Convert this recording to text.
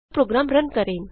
programme run करें